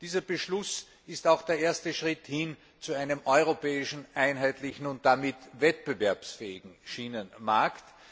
Dieser Beschluss ist auch der erste Schritt hin zu einem europäischen, einheitlichen und damit wettbewerbsfähigen Schienenmarkt.